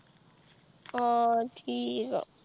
ਹੋਰ ਠੀਕ।